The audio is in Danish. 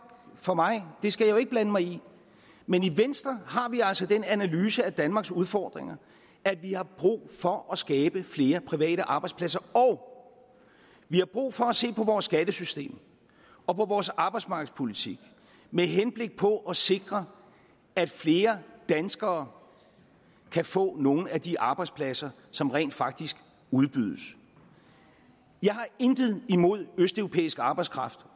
for mig det skal jeg jo ikke blande mig i men i venstre har vi altså den analyse af danmarks udfordringer at vi har brug for at skabe flere private arbejdspladser og vi har brug for at se på vores skattesystem og på vores arbejdsmarkedspolitik med henblik på at sikre at flere danskere kan få nogle af de arbejdspladser som rent faktisk udbydes jeg har intet imod østeuropæisk arbejdskraft